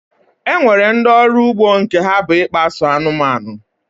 E nwere ndị ọrụ ugbo nke ha bụ ịkpa so anụmanụ